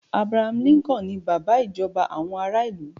Abraham Lincoln ni bàbá ìjọba àwọn ará ilu